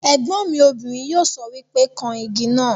Ègbọ́n mi obìnrin yóò sọ wípé 'kan Igi náà '